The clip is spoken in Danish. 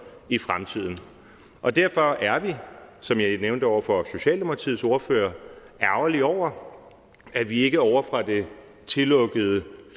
i fremtiden og derfor er vi som jeg nævnte over for socialdemokratiets ordfører ærgerlige over at vi ikke ovre fra det tillukkede